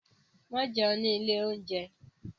Má jẹun ni ilé-oúnjẹ.